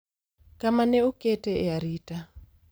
kama ne okete e arita